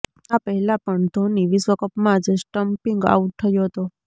આ પહેલા પણ ધોની વિશ્વ કપમાં જ સ્ટમ્પિંગ આઉટ થયો હતો